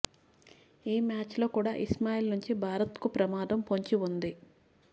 ఈ మ్యాచ్లో కూడా ఇస్మాయిల్ నుంచి భారత్కు ప్రమాదం పొంచి ఉంది